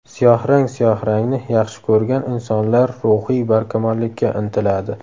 Siyohrang Siyohrangni yaxshi ko‘rgan insonlar ruhiy barkamollikka intiladi.